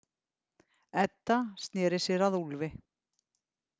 Edda sneri sér að Úlfi.